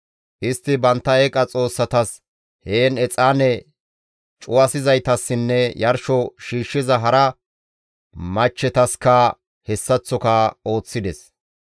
Istti bantta eeqa xoossatas heen exaane cuwasizaytassinne yarsho shiishshiza hara machchetaska hessaththoka ooththides.